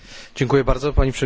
Pani Przewodnicząca!